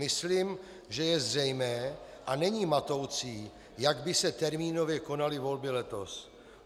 Myslím, že je zřejmé a není matoucí, jak by se termínově konaly volby letos.